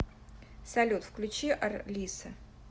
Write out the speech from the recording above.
салют включи арлисса